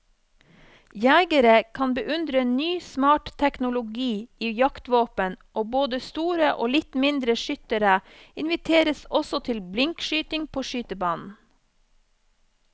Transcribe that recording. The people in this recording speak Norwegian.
Jegere kan beundre ny smart teknologi i jaktvåpen, og både store og litt mindre skyttere inviteres også til blinkskyting på skytebanen.